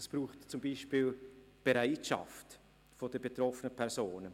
Es braucht zum Beispiel die Bereitschaft der betroffenen Personen.